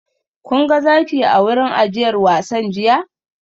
Kun ga zaki a wurin ajiyar wasan jiya?